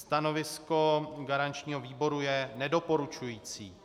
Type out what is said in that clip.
Stanovisko garančního výboru je nedoporučující.